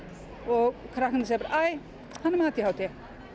og krakkarnir segja bara æ hann er með a d h d